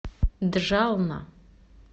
джална